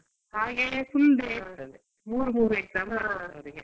ಹಾಗೆ full day ಇರ್ತದೆ ಮೂರೂ ಮೂರು exam ಇರ್ತದೆ ಅವ್ರ್ಗೆ .